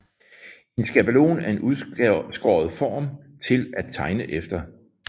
En skabelon er en udskåret form til at tegne efter